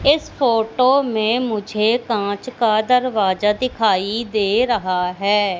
इस फोटो में मुझे कांच का दरवाजा दिखाई दे रहा है।